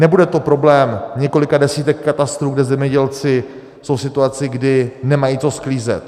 Nebude to problém několika desítek katastrů, kde zemědělci jsou v situaci, kdy nemají co sklízet.